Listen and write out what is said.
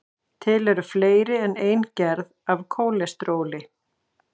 til eru fleiri en ein gerð af kólesteróli